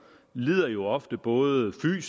lider jo ofte både